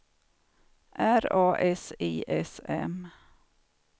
R A S I S M